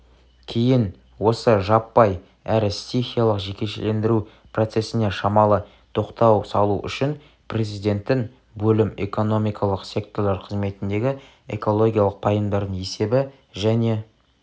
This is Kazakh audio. кейін осы жаппай әрі стихиялық жекешелендіру процесіне шамалы тоқтау салу үшін президенттің бөлім экономикалық секторлар қызметіндегі экологиялық пайымдардың есебі және